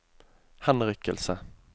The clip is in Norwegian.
henrykkelse